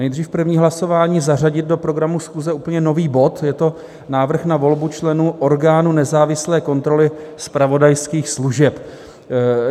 Nejdříve první hlasování - zařadit do programu schůze úplně nový bod, je to návrh na volbu členů orgánu nezávislé kontroly zpravodajských služeb.